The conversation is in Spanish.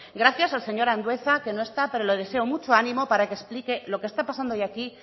gracias al señor andueza que no está pero le deseo mucho ánimo para que explique lo que está pasando hoy aquí